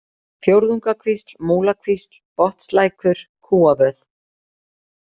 Fjórðungakvísl, Múlakvísl, Botnslækur, Kúavöð